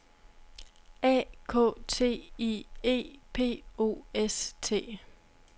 A K T I E P O S T